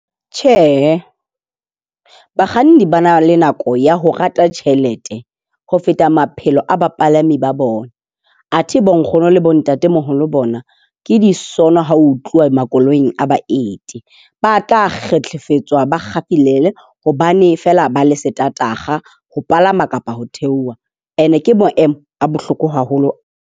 Tjhe, bakganni ba na le nako ya ho rata tjhelete ho feta maphelo a bapalami ba bona. Athe bonkgono le bontatemoholo bona ke disono, ha ho tluwa makoloing a baeti. Ba tla fetiswa, ba kgalemele hobane fela ba le ho palama kapa ho theoha, and ke maemo a bohloko haholo.